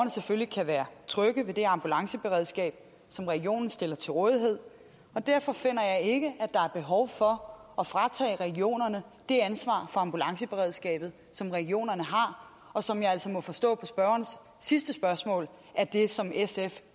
selvfølgelig kan være trygge ved det ambulanceberedskab som regionen stiller til rådighed derfor finder jeg ikke at er behov for at fratage regionerne det ansvar for ambulanceberedskabet som regionerne har og som jeg altså må forstå på spørgerens sidste spørgsmål er det som sf